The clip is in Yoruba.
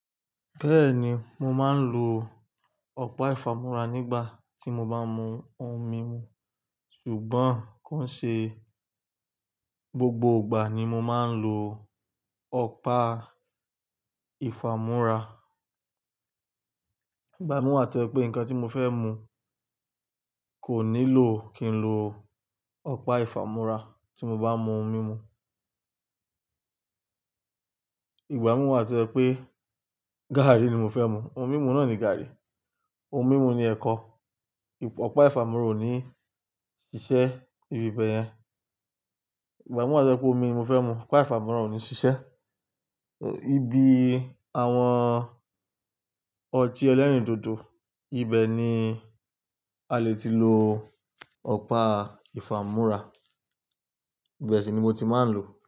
Bẹ́ẹ̀ni, mo máa ń lo ọ̀pá ìfámú́ra nígbà tí mo bá mú ohun mímu. Ṣùgbọ́n kò ṣe gbogbo ìgbà ni mo máa ń lo ọ̀pá ìfámú́ra. Ìgbà mi wá tó ẹ pé nǹkan tí mo fẹ́ mú kò nílò kí n lo ọ̀pá ìfámú́ra tí mo bá mú ohun mímu. Ìgbà mi wá tó ẹ pé gàárì ni mo fẹ́ mú, ohun mímu náà ni gàárì, ohun mímu ni ẹ̀kọ. Ọ̀pá ìfámú́ra ò ní ṣiṣẹ́ ibi bẹ́ẹ̀ yẹn. Ìgbà mú wá tó ẹ pé omi ni mo fẹ́ mú, ọ̀pá ìfámú́ra ò ní ṣiṣẹ́. Ibi àwọn ọtí ẹlẹ́rìndòdò, ibẹ̀ ni a le ti lo ọ̀pá ìfámú́ra. Ibe ṣi ni mo ti máa ń lò.